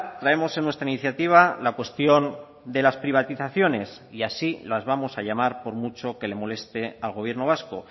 traemos en nuestra iniciativa la cuestión de las privatizaciones y así las vamos a llamar por mucho que le moleste al gobierno vasco